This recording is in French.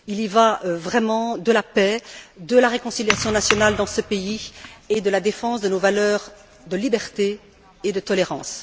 Il y va vraiment de la paix, de la réconciliation nationale dans ce pays et de la défense de nos valeurs de liberté et de tolérance.